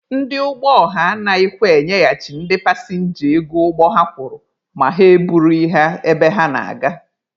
Ndị ụgbọ ọha anaghịkwa enyeghachi ndị pasịnja ego ụgbọ ha kwụrụ ma ha e burughị ha ebe ha na-aga.